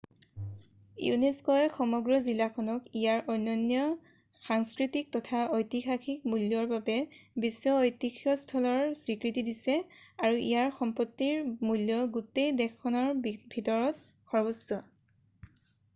ইউনেস্কোয়ে সমগ্ৰ জিলাখনক ইয়াৰ অনন্য সাংস্কৃতিক তথা ঐতিহাসিক মূল্যৰ বাবে বিশ্ব ঐতিহ্য স্থলৰ স্বীকৃতি দিছে আৰু ইয়াৰ সম্পত্তিৰ মূল্য গোটেই দেশখনৰ ভিতৰত সৰ্বোচ্চ